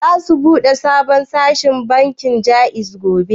Za su bude sabon reshen bankin Jaiz gobe?